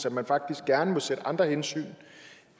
at man faktisk gerne må sætte andre hensyn